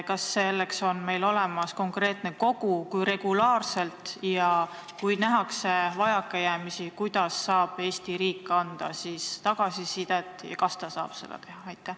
Kas selleks on olemas konkreetne kogu, kui regulaarselt see toimib, ja kui nähakse vajakajäämisi, kuidas saab Eesti riik anda tagasisidet ja kas ta saab seda üldse teha?